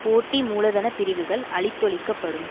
போட்டி மூலதன பிரிவுகள் அழித்தொழிக்கப்படும்